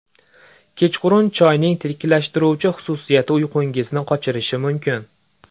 Kechqurun choyning tetiklashtiruvchi xususiyati uyqungizni qochirishi mumkin.